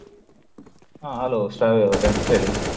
ಹ hello ಶ್ರಾವ್ಯ ಅವರೇ ಹೇಳಿ.